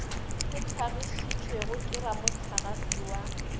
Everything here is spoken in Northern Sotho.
se hlagišitšwego ke ramohlagase wa